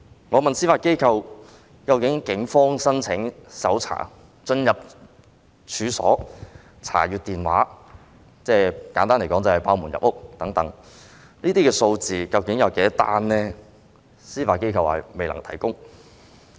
我問司法機構，究竟警方申請搜查令進入處所及查看手提電話——簡而言之，即是破門入屋——這些個案究竟有多少宗，司法機構表示未能提供。